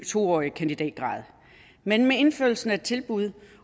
to årig kandidatgrad men med indførelsen af tilbud